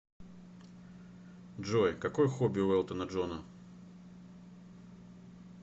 джой какое хобби у элтона джона